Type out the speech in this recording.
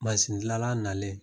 gilala nalen